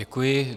Děkuji.